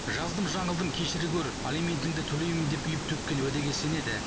жаздым жаңылдым кешіре гөр алиментіңді төлеймін деп үйіп төккен уәдеге сенеді